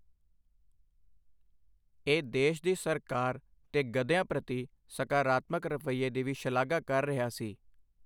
ਇਹ ਦੇਸ਼ ਦੀ ਸਰਕਾਰ ਦੇ ਗਧਿਆਂ ਪ੍ਰਤੀ ਸਕਾਰਾਤਮਕ ਰਵੱਈਏ ਦੀ ਵੀ ਸ਼ਲਾਘਾ ਕਰ ਰਿਹਾ ਸੀ।